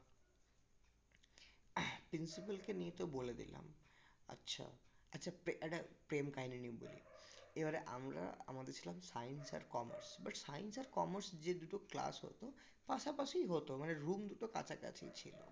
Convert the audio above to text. principle কে নিয়ে তো বলে দিলাম আচ্ছা আচ্ছা একটা প্রেম কাহিনী নিয়ে বলি এবারে আমরা আমাদের ছিলাম science আর commerce but science আর commerce যে দুটো class হতো পাশাপাশি হতো মানে room দুটো কাছাকাছি ছিল